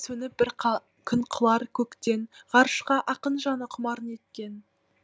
сөніп бір күн құлар көктен ғарышқа ақын жаны құмар неткен